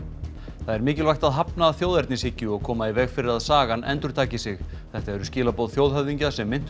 það er mikilvægt að hafna þjóðernishyggju og koma í veg fyrir að sagan endurtaki sig þetta eru skilaboð þjóðhöfðingja sem minntust